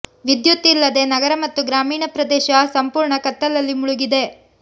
ವಿದ್ಯುತ್ ಇಲ್ಲದೆ ನಗರ ಮತ್ತು ಗ್ರಾಮೀಣ ಪ್ರದೇಶ ಸಂಪೂರ್ಣ ಕತ್ತಲಲ್ಲಿ ಮುಳುಗಿದೆ